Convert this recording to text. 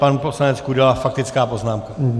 Pan poslanec Kudela, faktická poznámka.